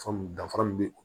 Faamu danfara min be o